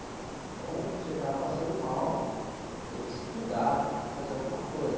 Então, se você está passando mal, tem que se cuidar, tem que fazer alguma coisa.